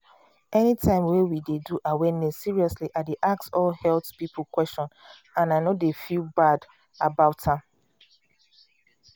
umanytime wey we dey do awareness seriously i dey ask all health um question and i no dey feel bad um about am.